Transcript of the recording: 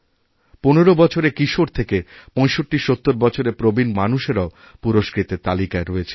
১৫ বছরের কিশোর থেকে পঁয়ষট্টিসত্তরবছরের প্রবীণ মানুষেরাও পুরস্কৃতের তালিকায় রয়েছেন